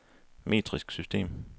metrisk system